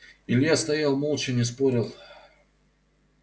илья стоял молча не спорил